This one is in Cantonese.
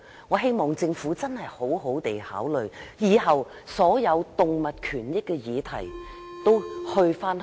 我希望政府認真考慮以後把所有有關動物權益的事宜轉交環境局處理。